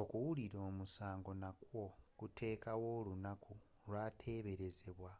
okuwulira omusango nakwo kuteekawo olunaku lwateberezebwa